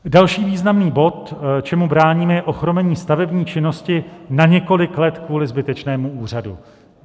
Další významný bod, čemu bráníme, je ochromení stavební činnosti na několik let kvůli zbytečnému úřadu.